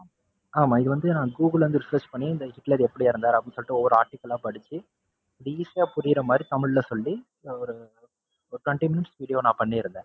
ஆமா இது வந்து நான் google ல இருந்து discuss பண்ணி ஹிட்லர் எப்படி இறந்தாரு அப்படின்னு ஒவ்வொரு article ஆ படிச்சு, easy யா புரியிறமாதிரி தமிழ்ல சொல்லி, ஒரு ஒரு continous video நான் பண்ணிருந்தேன்.